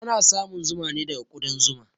Ana samun zuma ne daga ƙudan zuma.